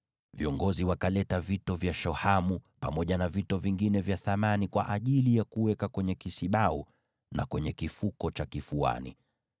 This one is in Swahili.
Viongozi wakaleta vito vya shohamu pamoja na vito vingine vya thamani kwa ajili ya kuweka kwenye kisibau na kwenye kifuko cha kifuani.